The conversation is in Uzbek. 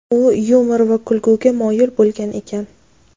U yumor va kulguga moyil bo‘lgan ekan.